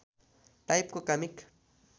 टाइपको कमिक